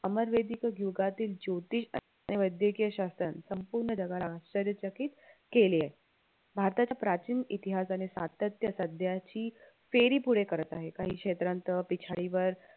अमर वेदिक युगातील ज्योतीष आणि वैद्यकीय शास्त्रज्ञ संपूर्ण जगाला आश्चर्य चकित केले भारताचा प्राचीन इतिहास आणि सातत्य सध्याची फेरी पुढे करत आहे काही क्षेत्रांत पिछाडी वर